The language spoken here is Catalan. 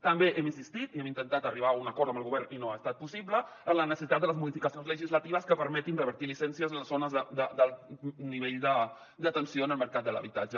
també hem insistit i hem intentat arribar a un acord amb el govern i no ha estat possible en la necessitat de les modificacions legislatives que permetin revertir llicències en les zones d’alt nivell de tensió en el mercat de l’habitatge